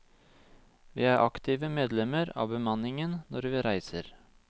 Vi er aktive medlemmer av bemanningen når vi reiser.